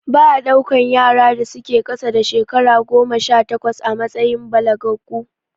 Ba a ɗaukan yaran da su ke ƙasa da shekara goma sha takwas a matsayin balagaggu